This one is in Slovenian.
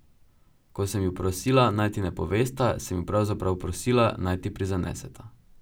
Ko sem ju prosila, naj ti ne povesta, sem ju pravzaprav prosila, naj ti prizaneseta.